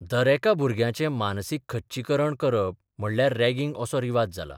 दरेका भुरग्याचें मानसीक खच्चीकरण करप म्हणल्यार रॅगिंग असो रिवाज जाला.